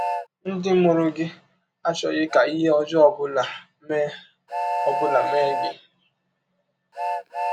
Ndị mụrụ gị achọghị ka ihe ọjọọ ọ bụla mee ọ bụla mee gị.